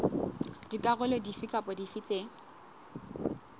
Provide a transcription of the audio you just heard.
dikarolo dife kapa dife tse